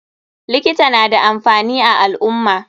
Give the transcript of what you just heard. Likita nada amfani a alummah.